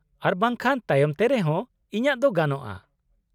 -ᱟᱨ ᱵᱟᱝᱠᱷᱟᱱ ᱛᱟᱭᱚᱢ ᱛᱮ ᱨᱮ ᱦᱚᱸ ᱤᱧᱟᱹᱜ ᱫᱚ ᱜᱟᱱᱚᱜᱼᱟ ᱾